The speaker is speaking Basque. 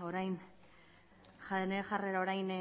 bere jarrera orain